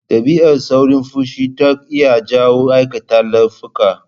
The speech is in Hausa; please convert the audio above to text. Dabi'ar saurin fushi tanq iya jawo aikata laifuka.